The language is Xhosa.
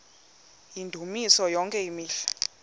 yendumiso yonke imihla